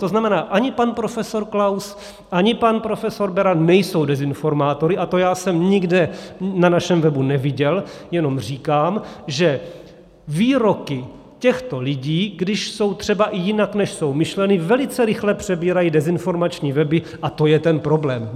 To znamená, ani pan profesor Klaus, ani pan profesor Beran nejsou dezinformátory a to já jsem nikde na našem webu neviděl, jenom říkám, že výroky těchto lidí, když jsou třeba i jinak, než jsou myšleny, velice rychle přebírají dezinformační weby a to je ten problém.